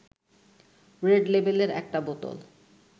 red লেবেলের একটা বোতল